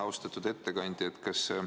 Aitäh!